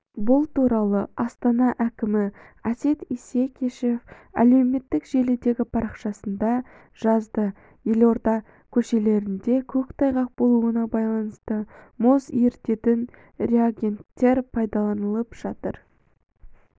бұл туралы астана әкімі әсет исекешев әлеуметтік желідегі парақшасында жазды елорда көшелерінде көктайғақ болуына байланысты мұз ерітетін реагенттер пайдаланылып жатыр